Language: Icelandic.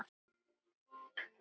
Rúnar, hvernig gengur?